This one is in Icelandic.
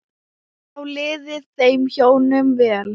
Þá liði þeim hjónum vel.